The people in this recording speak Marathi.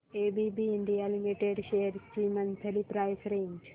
एबीबी इंडिया लिमिटेड शेअर्स ची मंथली प्राइस रेंज